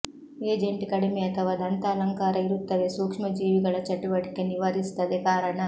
agent ಕಡಿಮೆ ಅಥವಾ ದಂತ ಅಲಂಕಾರ ಇರುತ್ತವೆ ಸೂಕ್ಷ್ಮಜೀವಿಗಳ ಚಟುವಟಿಕೆ ನಿವಾರಿಸುತ್ತದೆ ಕಾರಣ